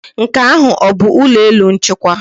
Nke ahụ ọ bụ ụlọ elu nchịkwa?